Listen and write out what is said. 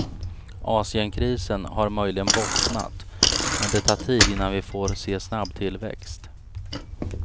Asienkrisen har möjligen bottnat, men det tar tid innan vi får se snabb tillväxt.